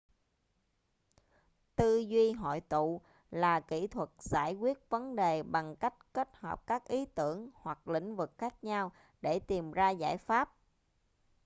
tư duy hội tụ là kỹ thuật giải quyết vấn đề bằng cách kết hợp các ý tưởng hoặc lĩnh vực khác nhau để tìm ra giải pháp